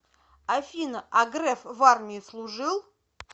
афина а греф в армии служил